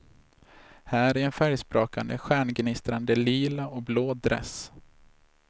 Här i en färgsprakande stjärngnistrande lila och blå dress.